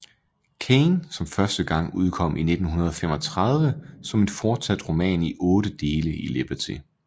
Cain som første gang udkom i 1935 som en fortsat roman i 8 dele i Liberty